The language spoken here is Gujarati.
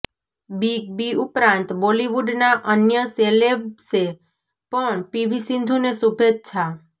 બિગ બી ઉપરાંત બોલિવૂડના અન્ય સેલેબ્સે પણ પીવી સિંધુને શુભેચ્છા